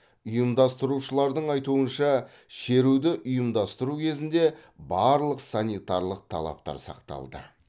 ұйымдастырушылардың айтуынша шеруді ұйымдастыру кезінде барлық санитарлық талаптар сақталды